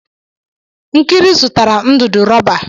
Nkiri zụtara ndụdụ rọba.